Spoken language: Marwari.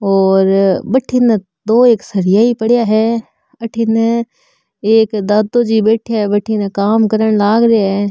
और बठीने दो एक सरिया ही पड़िया है अठीने एक दादोजी बेठिया है बठीने काम करन लाग रिया है।